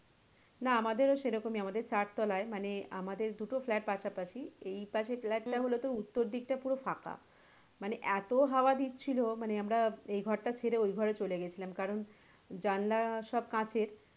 না আমাদের ও সেরকমই আমাদের চার তলায় মানে আমাদের দুটো flat পাশাপাশি আমাদের এইদিকে flat টা পুরো উত্তর দিকে পুরো ফাঁকা মানে এতো হাওয়া দিচ্ছিলো মানে আমরা সেই ঘর টা ছেড়ে ওই ঘরে চলে গেছিলাম কারন জানলা সব কাঁচের,